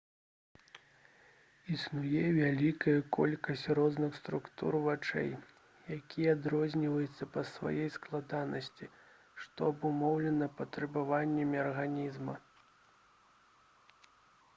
існуе вялікая колькасць розных структур вачэй якія адрозніваюцца па сваёй складанасці што абумоўлена патрабаваннямі арганізма